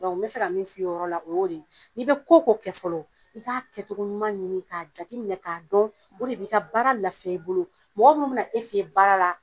N bɛ fɛ ka min f'i ye o yɔrɔ la, o y'o de ye, n'i bɛ ko o ko kɛ fɔlɔ, i ka kɛcogo ɲuman ɲini, k'a jateminɛ k'a dɔn, o de b'i ka baara lafiya i bolo, mɔgɔ minnu bɛna e fen in baara la